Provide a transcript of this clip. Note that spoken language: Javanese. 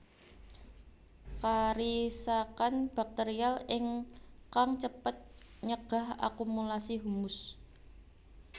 Karisakan bakterial ingkang cepet nyegah akumulasi humus